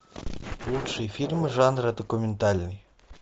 лучшие фильмы жанра документальный